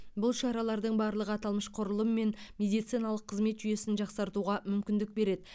бұл шаралардың барлығы аталмыш құрылым мен медициналық қызмет жүйесін жақсартуға мүмкіндік береді